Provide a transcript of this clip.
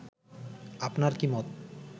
আপনার কী মত